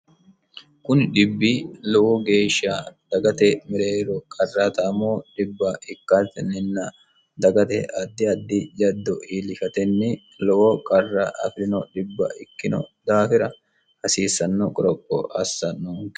kuni dhibbi lowo geeshsha dagate mereero qarraataamo dhibbati dagate addi addi jaddo iillishatenni lowo qarra afirino dhibb ikkino daafira hasiissanno qoropo assanno